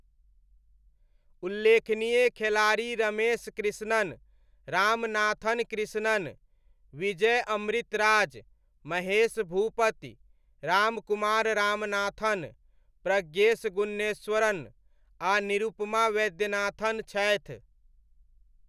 उल्लेखनीय खेलाड़ी रमेश कृष्णन, रामनाथन कृष्णन, विजय अमृतराज, महेश भूपति, रामकुमार रामनाथन, प्रज्ञेश गुन्नेश्वरन, आ निरुपमा वैद्यनाथन छथि।